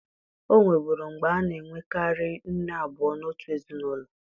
O nweburu mgbe a na-enwekarị nne abụọ n'otu ezinụlọ